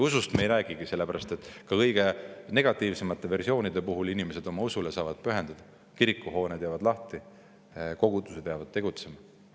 Usust me ei räägigi, sellepärast et ka kõige negatiivsemate versioonide puhul saavad inimesed oma usule pühenduda, kirikuhooned jäävad lahti, kogudused jäävad tegutsema.